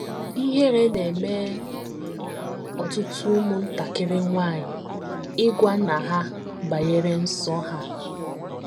Ihere na - eme ọtụtụ ụmụntakịrị nwanyị ịgwa nna ha banyere nsọ ha.